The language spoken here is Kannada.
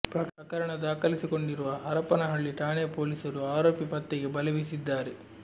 ಪ್ರಕರಣ ದಾಖಲಿಸಿಕೊಂಡಿರುವ ಹರಪನಹಳ್ಳಿ ಠಾಣೆ ಪೊಲೀಸರು ಆರೋಪಿ ಪತ್ತೆಗೆ ಬಲೆ ಬೀಸಿದ್ದಾರೆ